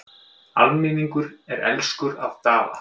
Almenningur er elskur að Daða.